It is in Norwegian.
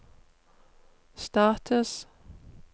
status